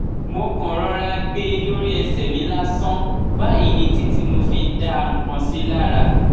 mo kàn rọra gbé e lórí ẹsẹ mi lásán báyìí ní títí tí mo fi dá nǹkan sí i lára